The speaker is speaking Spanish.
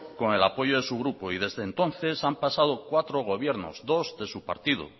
con el apoyo de su grupo y desde entonces han pasado cuatro gobiernos dos de su partido